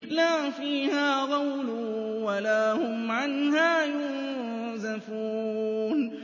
لَا فِيهَا غَوْلٌ وَلَا هُمْ عَنْهَا يُنزَفُونَ